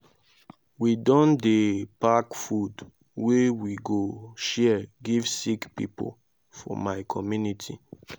we don dey pack food wey we go share give sick pipo for my community.